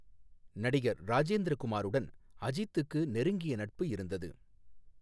நடிகர் ராஜேந்திர குமாருடன் அஜித்துக்கு நெருங்கிய நட்பு இருந்தது.